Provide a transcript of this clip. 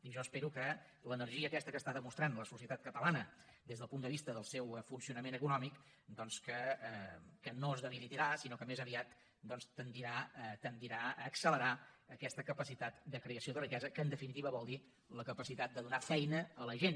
i jo espero que l’energia aquesta que està demostrant la societat catalana des del punt de vista del seu funcionament econòmic doncs no es debilitarà sinó que més aviat tendirà a accelerar aquesta capacitat de creació de riquesa que en definitiva vol dir la capacitat de donar feina a la gent